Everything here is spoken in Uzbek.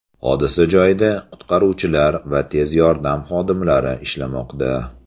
Hodisa joyida qutqaruvchilar va tez yordam xodimlari ishlamoqda.